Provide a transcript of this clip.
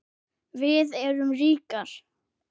Við erum ríkar